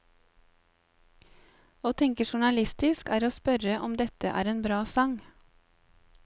Å tenke journalistisk er å spørre om dette en bra sang.